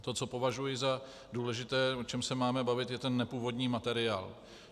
To, co považuji za důležité, o čem se máme bavit, je ten nepůvodní materiál.